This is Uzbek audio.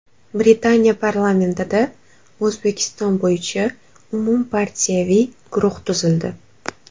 Britaniya parlamentida O‘zbekiston bo‘yicha umumpartiyaviy guruh tuzildi.